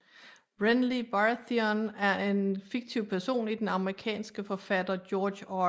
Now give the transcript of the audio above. Renly Baratheon er en fiktiv person i den amerikanske forfatter George R